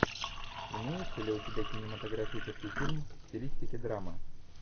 имеется ли у тебя кинематографический фильм в стилистике драма